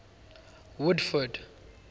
woodford